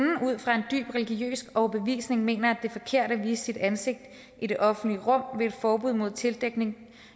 dybt religiøs overbevisning mener at det er forkert at vise sit ansigt i det offentlige rum vil et forbud mod tildækning